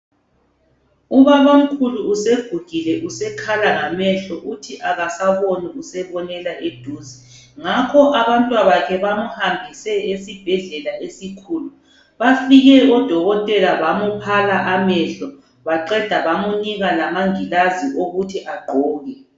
Ubabamkhulu segugile sekhala ngamehlo uthi akasaboni usebonela eduze ngakho abantwabakhe bamuhambise esibhedlela esikhulu. Bafike odokotela bamuphala amehlo baqeda bamunika lamangilazi okuthi agqoke